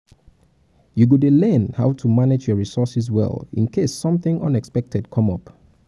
you go dey learn how to dey manage your resources well in case something unexpected come up